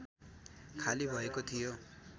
खाली भएको थियो